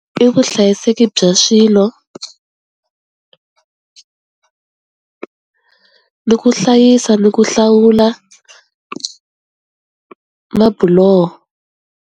I vuhlayiseki bya swilo ni ku hlayisa ni ku hlawula mabuloho.